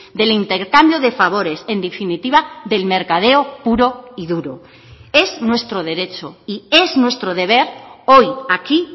del intercambio de favores en definitiva del mercadeo puro y duro es nuestro derecho y es nuestro deber hoy aquí